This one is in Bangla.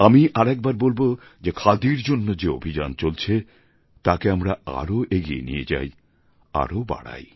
আমি আরও একবার বলব যে খাদির জন্য যে অভিযান চলছে তাকে আমরা আরও এগিয়ে নিয়ে যাই আরও বাড়াই